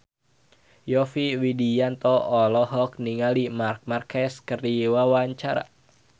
Yovie Widianto olohok ningali Marc Marquez keur diwawancara